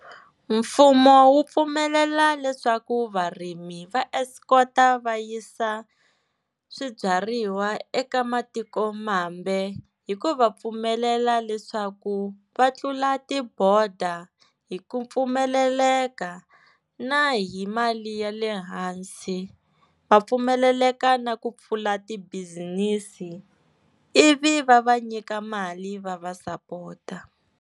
Mfumo wu pfumelela leswaku varimi va escort-a va yisa swibyariwa eka matikomambe, hi ku va pfumelela leswaku va tlula tiboda hi ku pfumeleleka, na hi mali ya le hansi va pfumeleleka na ku pfula ti bizinisi ivi va va nyika mali va va sapota.